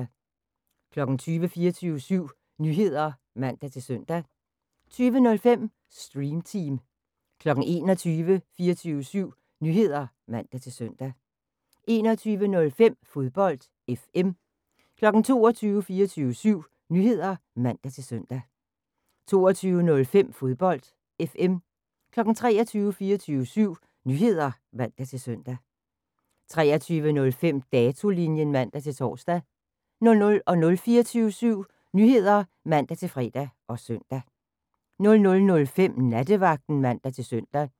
20:00: 24syv Nyheder (man-søn) 20:05: Stream Team 21:00: 24syv Nyheder (man-søn) 21:05: Fodbold FM 22:00: 24syv Nyheder (man-søn) 22:05: Fodbold FM 23:00: 24syv Nyheder (man-søn) 23:05: Datolinjen (man-tor) 00:00: 24syv Nyheder (man-fre og søn) 00:05: Nattevagten (man-søn)